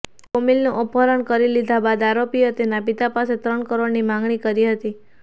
કોમિલનું અપહરણ કરી લીધા બાદ આરોપીઓએ તેના પિતા પાસે ત્રણ કરોડની માંગણી કરી હતી